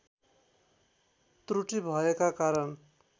त्रुटि भएका कारण